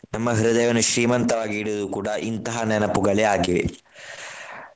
ನಮ್ಮ ಹೃದಯವನ್ನು ಶ್ರೀಮಂತವಾಗಿ ಇಡುವುದು ಕೂಡ ಇಂತಹ ನೆನಪುಗಳೇ ಆಗಿವೆ.